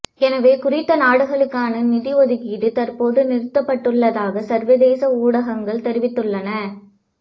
எனவே குறித்த நாடுகளுக்கான நிதி ஒதுக்கீடு தற்போது நிறுத்தப்பட்டுள்ளதாக சர்வதேச ஊடகங்கள் தெரிவித்துள்ளன